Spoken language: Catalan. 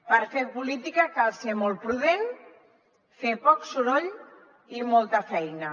per fer política cal ser molt prudent fer poc soroll i molta feina